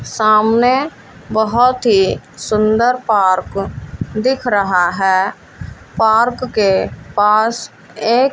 सामने बहोत ही सुंदर पार्क दिख रहा है पार्क के पास एक--